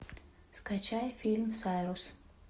скачай фильм сайрус